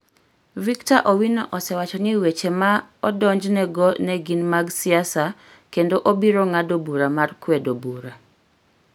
Victor Owino osewacho ni weche ma odonjnego ne gin mag siasa kendo obiro ng'ado bura mar kwedo bura.